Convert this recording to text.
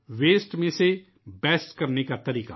فضلے کو کارآمد بنانے کا طریقہ